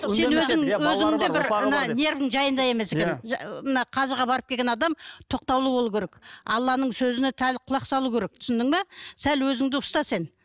сен өзің өзіңді бір мына нервың жайында емес екен мына қажыға барып келген адам тоқтаулы болу керек алланың сөзіне сәл құлақ салу керек түсіндің бе сәл өзіңді ұста сен